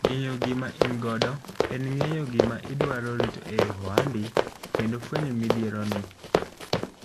Ng'eyo gima in godo en ng'eyo gima dwaro rit e ohandi kendo fuenyo mIdhiero ni